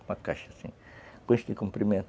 Uma caixa, assim, com este comprimento.